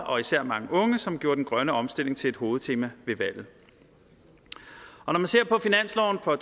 og især mange unge som gjorde den grønne omstilling til et hovedtema ved valget når man ser på finansloven for